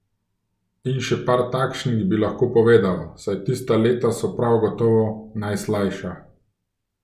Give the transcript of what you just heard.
In še par takšnih bi lahko povedal, saj tista leta so prav gotovo najslajša.